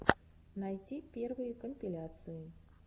найти первые компиляции